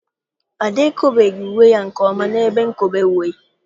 Ada ekobeghị uwe ya nke ọma n'ebe nkobe uwe.